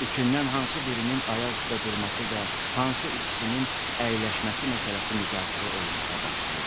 Üçündən hansı birinin ayaq üstə durması və hansı ikisinin əyləşməsi məsələsi müzakirə olunmağa başlayır.